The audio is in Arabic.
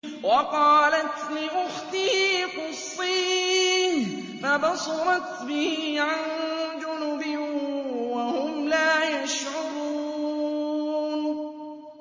وَقَالَتْ لِأُخْتِهِ قُصِّيهِ ۖ فَبَصُرَتْ بِهِ عَن جُنُبٍ وَهُمْ لَا يَشْعُرُونَ